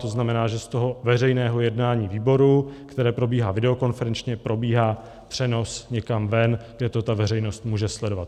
To znamená, že z toho veřejného jednání výboru, které probíhá videokonferenčně, probíhá přenos někam ven, kde to ta veřejnost může sledovat.